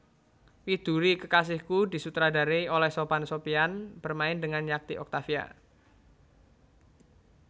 Widuri Kekasihku disutradarai oleh Sophan Sophiaan bermain dengan Yati Octavia